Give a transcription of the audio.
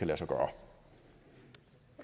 når